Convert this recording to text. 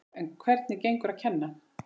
En hvernig gengur að kenna?